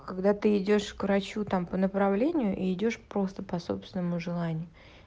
когда ты идёшь к врачу там по направлению и идёшь просто по собственному желанию